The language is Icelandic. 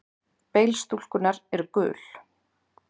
Bein stúlkunnar eru gul.